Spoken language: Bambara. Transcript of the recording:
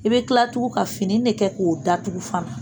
I bɛ kila tugun ka fini de kɛ k'o datugu fana